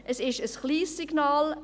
Es ist ein kleines Signal.